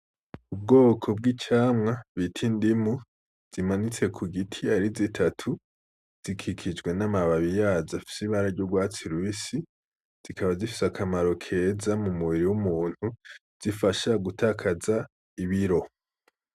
Ubwoko bw'icamwa bita indimu zimanitse kugiti ari zitatu, zikikijwe n'amababi yaco afise ibara ry'urwatsi rubisi zikaba zifise akamaro keza k'umubiri w'umuntu. Zifasha gutakaza ibiri.